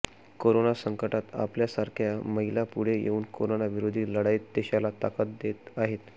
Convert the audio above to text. corona संकटात आपल्या सारख्या महिला पुढे येऊन करोनाविरोधी लढाईत देशाला ताकद देत आहेत